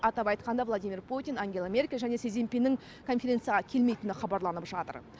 атап айтқанда владимир путин ангела меркель және си цзиньпиннің конференцияға келмейтіні хабарланып жатыр